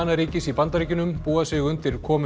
ríkis í Bandaríkjunum búa sig undir komu